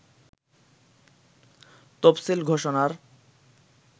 তফসিল ঘোষণার